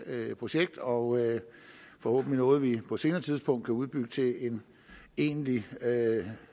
projekt og forhåbentlig noget vi på et senere tidspunkt kan udbygge til en egentlig